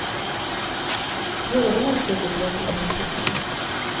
Det gäller bara att söka upp lämpliga personer.